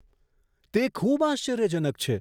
તે ખૂબ આશ્ચર્યજનક છે!